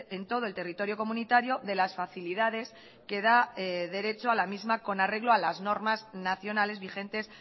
en todo el territorio comunitario de las facilidades que da derecho a la misma con arreglo a las normas nacionales vigentes